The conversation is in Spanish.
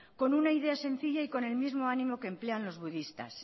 con una idea sencilla y con el mismo ánimo que emplean los budistas